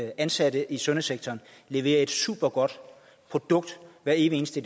ansatte i sundhedssektoren leverer et supergodt produkt hver evig eneste